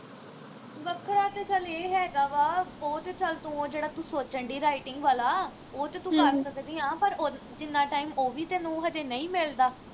ਵੱਖਰਾਂ ਤੇ ਚੱਲ ਇਹ ਹੈਗਾ ਵਾ ਉਹ ਤੇ ਚੱਲ ਤੂੰ ਉਹ ਜਿਹੜਾ ਤੂੰ ਸੋਚਣ ਦਈ writing ਵਾਲਾ ਉਹ ਤੇ ਤੂੰ ਕਰ ਸਕਦੀ ਆ ਪਰ ਜਿੰਨਾ time ਉਹ ਵੀ ਤੈਨੂੰ ਹਜੇ ਨਹੀਂ ਮਿਲਦਾ